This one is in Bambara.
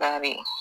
Bari